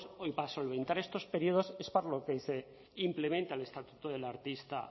para solventar estos períodos es para lo que se implementa el estatuto del artista